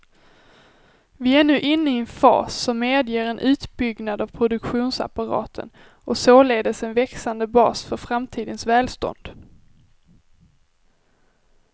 Vi är nu inne i en fas som medger en utbyggnad av produktionsapparaten och således en växande bas för framtidens välstånd.